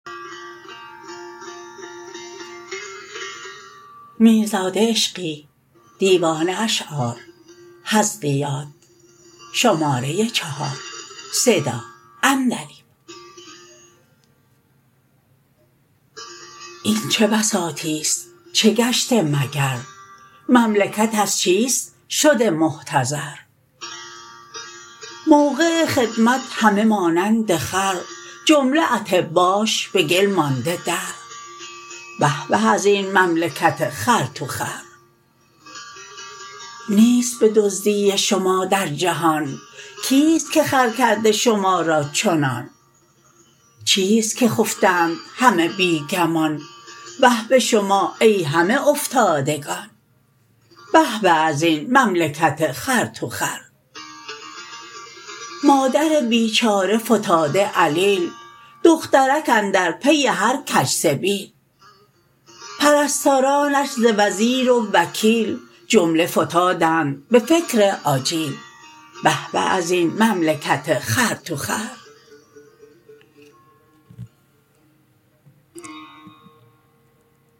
این چه بساطی است چه گشته مگر مملکت از چیست شده محتضر موقع خدمت همه مانند خر جمله اطباش به گل مانده در به به ازین مملکت خر تو خر نیست به دزدی شما در جهان کیست که خر کرده شما را چنان چیست که خفتند همه بی گمان وه به شما ای همه افتادگان به به ازین مملکت خر تو خر مادر بیچاره فتاده علیل دخترک اندر پی هر کج سبیل پرستارانش ز وزیر و وکیل جمله فتادند به فکر آجیل به به ازین مملکت خر تو خر